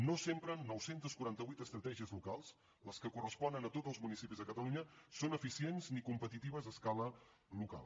no sempre nou cents i quaranta vuit estratègies locals les que corresponen a tots els municipis de catalunya són eficients ni competitives a escala local